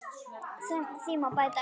Því má bæta upp